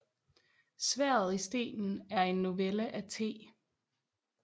Sværdet i stenen er en novelle af T